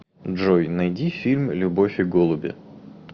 джой найди фильм любовь и голуби